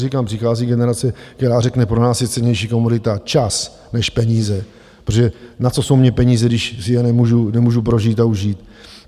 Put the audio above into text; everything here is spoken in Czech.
Říkám, přichází generace, která řekne: pro nás je cennější komodita čas než peníze, protože na co jsou mi peníze, když si je nemůžu prožít a užít?